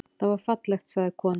Það var fallegt, sagði konan.